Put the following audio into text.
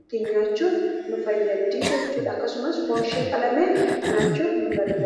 ittiin nyaachuuf nu fayyaddi jechuudha akkasumas foon ishee qalamee nyaachuuf nu fayyada.